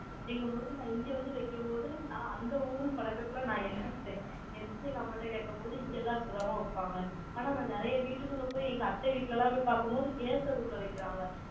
அப்படிங்கும்போது, நான் இங்க வந்து வைக்கும்போது, நான் அந்த ஊர் பழக்கத்துல, நான் எந்திரிச்சுட்டேன் எங்க அம்மா கிட்ட கேக்கும் போது, இங்க எல்லாம் இப்படித்தான்ம்மா வைப்பாங்க. ஆனா, நான் நிறைய வீட்டுக்குள்ள போய், எங்க அத்தை வீட்டில எல்லாம் போய் பார்க்கும் போது, gas அடுப்புல வைக்கிறாங்க.